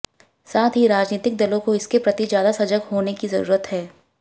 साथ ही राजनीतिक दलों को इसके प्रति ज्यादा सजग होने की जरूरत है